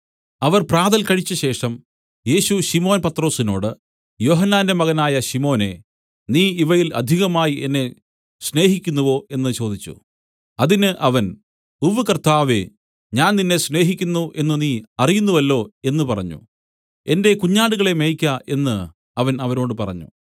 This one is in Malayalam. അവർ പ്രാതൽ കഴിച്ചശേഷം യേശു ശിമോൻ പത്രൊസിനോട് യോഹന്നാന്റെ മകനായ ശിമോനേ നീ ഇവയിൽ അധികമായി എന്നെ സ്നേഹിക്കുന്നുവോ എന്നു ചോദിച്ചു അതിന് അവൻ ഉവ്വ് കർത്താവേ ഞാൻ നിന്നെ സ്നേഹിക്കുന്നു എന്നു നീ അറിയുന്നുവല്ലോ എന്നു പറഞ്ഞു എന്റെ കുഞ്ഞാടുകളെ മേയ്ക്ക എന്നു അവൻ അവനോട് പറഞ്ഞു